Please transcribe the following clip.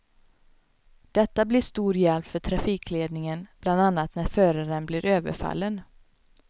Detta blir till stor hjälp för trafikledningen, bland annat när föraren blir överfallen.